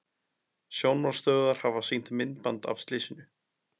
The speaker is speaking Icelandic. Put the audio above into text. Sjónvarpsstöðvar hafa sýnt myndband af slysinu